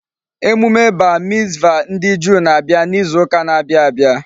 Emume bar mitzvah ndi Juu na-abia n'izu uka n'abia abia